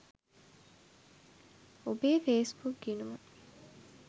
ඔබේ ෆේස්බුක් ගිණුම